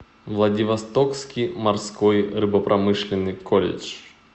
владивостокский морской рыбопромышленный колледж